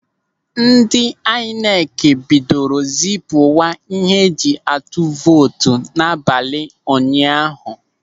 Ndị aịnekị bidoro zipuwa ihe eji atụ vootu n'abalị ụnyaahụ.